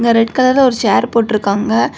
Red கலர்ல ஒரு chair போட்டுருக்காங்க.